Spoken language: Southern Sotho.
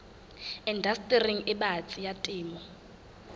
indastering e batsi ya temo